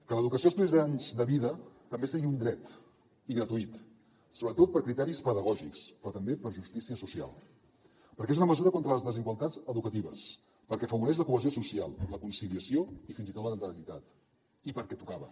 que l’educació els primers anys de vida també sigui un dret i gratuït sobretot per criteris pedagògics però també per justícia social perquè és una mesura contra les desigualtats educatives perquè afavoreix la cohesió social la conciliació i fins i tot la natalitat i perquè tocava